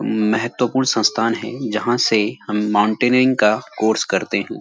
महत्वपूर्ण संस्थान है जहाँ से हम माउंटेनिंग का कोर्स करते हैं।